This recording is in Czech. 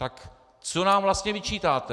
Tak co nám vlastně vyčítáte?